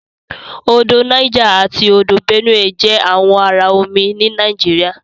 Odò Niger ati Odò Benue jẹ àwọn àrà omí ní Nàìjíríà.